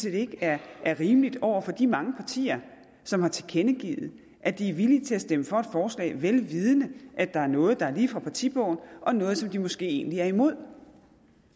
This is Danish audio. ikke er rimeligt over for de mange partier som har tilkendegivet at de er villige til at stemme for et forslag vel vidende at der er noget der er lige fra partibogen og noget som de måske egentlig er imod